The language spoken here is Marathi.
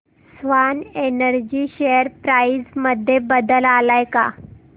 स्वान एनर्जी शेअर प्राइस मध्ये बदल आलाय का